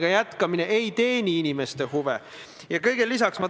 Eks me teiste kohtade asjus peame siis Eesti Puuetega Inimeste Kojaga läbi rääkima.